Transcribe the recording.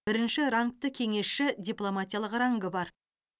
бірінші рангты кеңесші дипломатиялық рангы бар